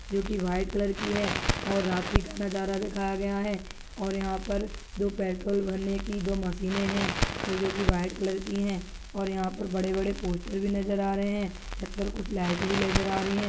जो की white colour की है और रात्रि नज़ारा दिखाया गया है और यहां पर पेट्रोल भरने की दो मशीने है जो की व्हाइट कलर की है और यहां पर बड़े बड़े पोस्टर नज़र आ रहे है छत पर कुछ लाइट भी नज़र आ रही है।